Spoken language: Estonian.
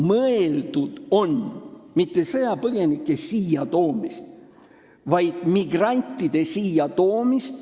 Mõeldud pole mitte sõjapõgenike siia toomist, vaid migrantide siia toomist.